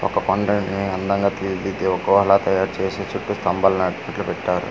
ఒక పండుడ్ ని అందంగా తీర్చి దీది ఒక గుహ లా తయారు చేసి కహత్తు స్తంబలు నాటి బొట్లు పెట్టారు .